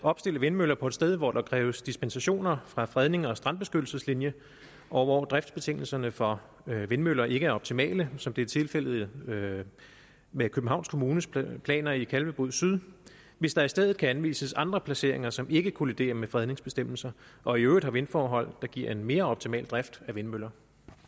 opstille vindmøller på et sted hvor der kræves dispensationer fra fredning og strandbeskyttelseslinjer og hvor driftsbetingelserne for vindmøller ikke er optimale som det er tilfældet med med københavns kommunes planer planer i kalvebod syd hvis der i stedet kan anvises andre placeringer som ikke kolliderer med fredningsbestemmelser og i øvrigt har vindforhold der giver en mere optimal drift af vindmøller